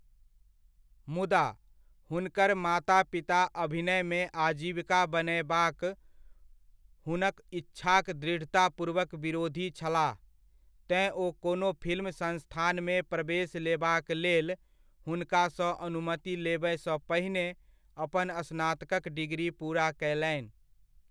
मुदा, हुनकर माता पिता अभिनयमे आजीविका बनयबाक हुनक इच्छाक दृढ़तापूर्वक विरोधी छलाह तेँ ओ कोनो फिल्म संस्थानमे प्रवेश लेबाक लेल हुुनकासँ अनुमति लेबय सँ पहिने अपन स्नातकक डिग्री पूरा कयलनि।